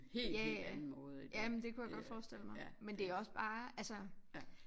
Ja ja jamen det kunne jeg godt forestille mig men det også bare altså